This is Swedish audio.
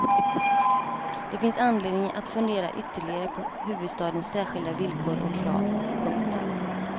Det finns anledning att fundera ytterligare på huvudstadens särskilda villkor och krav. punkt